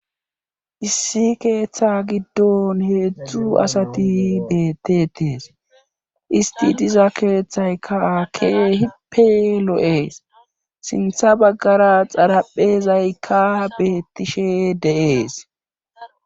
Issi keeththa giddon heedzdzu asati bettetes isti diza keeththaykkaake hipe lo'ees sintha baggara xaraphezaykka beettishe de'ees.